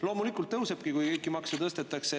Loomulikult tõusebki, kui kõiki makse tõstetakse.